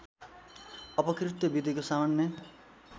अपकृत्य विधिको सामान्य